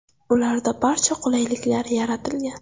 Ularda barcha qulayliklar yaratilgan.